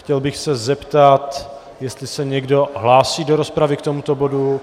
Chtěl bych se zeptat, jestli se někdo hlásí do rozpravy k tomuto bodu.